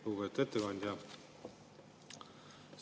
Lugupeetud ettekandja!